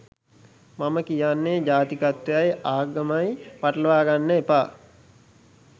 මම කියන්නේ ජාතිකත්වයයි ආගමයි පටලවාගන්න එපා